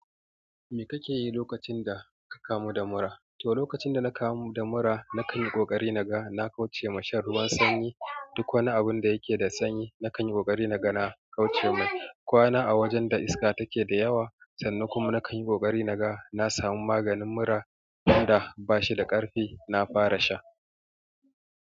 Me kake yi lokacin da ka kamu da mura? To, lokacin da na kamu da mura, na kan yi ƙoƙari na ga. Na kauce ma shan ruwan sanyi, duk wani abunda yake da sanyi na kanyi ƙoƙari naga na kauce mai kwana a wajen da iska take da yawa, sannan kuma na kan yi ƙoƙari na ga na samu maganin mura. Tun da ba shi da ƙarfi, na fara sha.